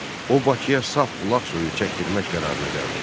O Bakıya saf bulaq suyu çəkdirmək qərarına gəldi.